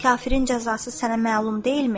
Kafirin cəzası sənə məlum deyilmi?